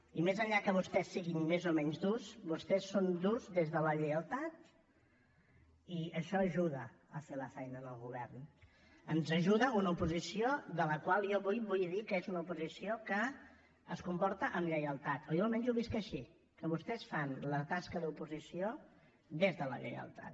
i més enllà que vostès siguin més o menys durs vostès són durs des de la lleialtat i això ajuda a fer la feina al govern ens ajuda una oposició de la qual jo avui vull dir que és una oposició que es comporta amb lleialtat o jo almenys ho visc així que vostès fan la tasca d’oposició des de la lleialtat